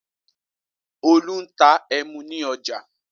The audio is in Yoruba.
Olú ń ta ẹmu ní ọjà.